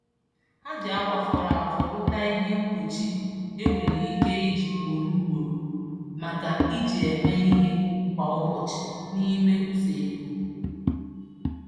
Ha ji akwa fọrọ afọ rụta ihe mkpuchi e nwere ike iji ugboro ugboro maka iji eme ihe kwa ụbọchị n'ime usekwu.